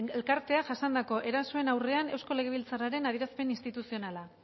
elkarteak jasandako erasoen aurrean eusko legebiltzarraren adierazpen instituzionala